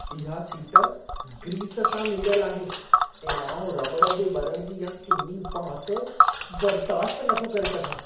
इहा seat grease सां लिंबियल आहे ऐं आउं रॿड़ जे ॿरण जी इहा किनी बांस बर्दाश्त नथो करे सघां।